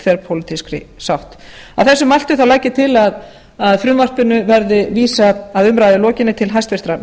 þverpólitískri sátt að þessu mæltu legg ég til að frumvarpinu verði vísað að umræðu lokinni til hæstvirtrar